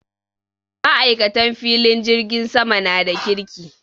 Maikatan filin jirgin sama na da kirki.